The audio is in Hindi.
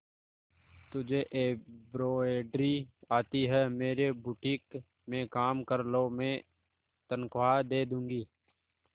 तुझे एंब्रॉयडरी आती है मेरे बुटीक में काम कर लो मैं तनख्वाह दे दूंगी